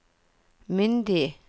myndige